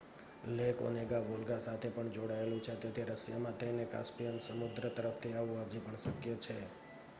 lake Onega Volga સાથે પણ જોડાયેલું છે તેથી રશિયામાં થઈને કાસ્પિયન સમુદ્ર તરફથી આવવું હજી પણ શક્ય છે